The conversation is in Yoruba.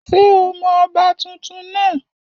Ṣé o mọ ọba tuntun náà?